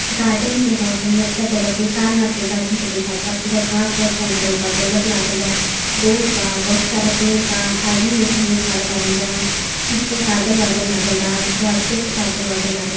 garden के ह कही अच्छा जगह के सारनाथ के गार्डन के बुझाता पूरा घास वास जाम गइल बा पूरा बलब लागल बा बोर्ड बा बहुत सारा पेड़ बा आदमी होने एगो खड़ा बाड़न जा ऊपर बादल -वादळ लागल बा पूरा अच्छे से बादल वादळ --